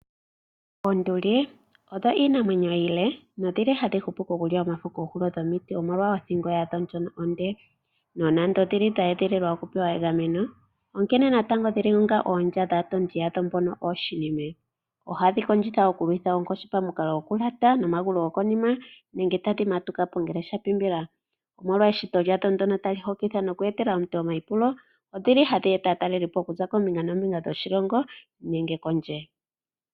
Onduli odho iinamwenyo iile nodhi hadhi hupu okulya omafo koohulo dhomiti omolwa othingo yadho ndjono onde. Nonando odhe edhililwa okupewa egameno, onkene natango dhili onga eelya dhaatondi yadho mbono ooshinimwe. Ohadhi kondjila okulwitha onkoshi pamukalo gokulyata nomagulu gokonima nenge tadhi fadhuka po ngele dha pimbila. Omolwa eshito dhalyo ndo ta li hokitha oku etela omuntu omayipulo, odhi li ha dhi eta aataleli po oku za koombinga noombinga dhoshilongo nenge kondje.